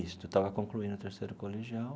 Isto, eu estava concluindo o terceiro colegial.